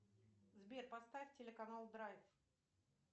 сбер поставь телеканал драйв